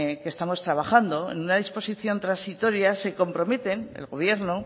que estamos trabajando en una disposición transitoria se comprometen el gobierno